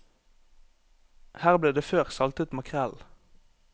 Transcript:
Her ble det før saltet makrell.